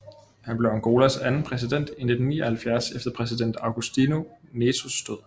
Han blev Angolas anden præsident i 1979 efter præsident Agostinho Netos død